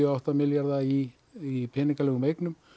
og átta milljarða í í peningalegum eignum